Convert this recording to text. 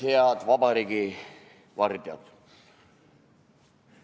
Head vabariigi vardjad!